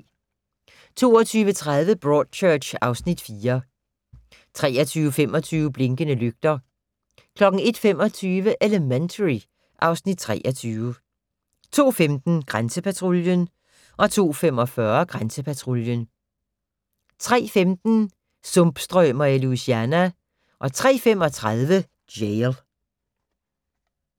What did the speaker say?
22:30: Broadchurch (Afs. 4) 23:25: Blinkende lygter 01:25: Elementary (Afs. 23) 02:15: Grænsepatruljen 02:45: Grænsepatruljen 03:15: Sumpstrømer i Louisiana 03:35: Jail